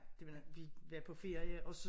Det da vi var på ferie og så